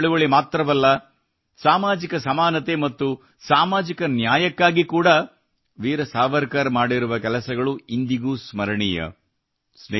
ಸ್ವಾತಂತ್ರ್ಯ ಚಳುವಳಿ ಮಾತ್ರವಲ್ಲ ಸಾಮಾಜಿಕ ಸಮಾನತೆ ಮತ್ತು ಸಾಮಾಜಿಕ ನ್ಯಾಯಕ್ಕಾಗಿ ಕೂಡಾ ವೀರ್ ಸಾವರ್ಕರ್ ಮಾಡಿರುವ ಕೆಲಸಗಳು ಇಂದಿಗೂ ಸ್ಮರಣೀಯ